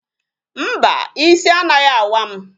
Mba, ịsị anaghị awa m